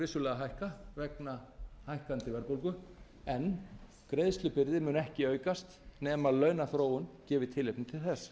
vissulega hækka vegna hækkandi verðbólgu en greiðslubyrðin mun ekki aukast nema launaþróun gefi tilefni til þess